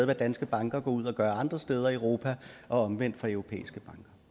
hvad danske banker går ud og gør andre steder i europa og omvendt for europæiske